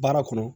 Baara kɔnɔ